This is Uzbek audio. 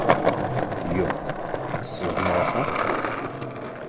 “Yo‘q, siz nohaqsiz.